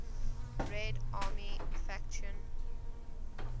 red army faction